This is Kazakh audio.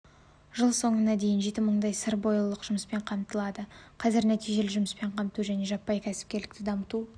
жыл соңына дейін жеті мыңдай сырбойылық жұмыспен қамтылады қазір нәтижелі жұмыспен қамту және жаппай кәсіпкерлікті дамыту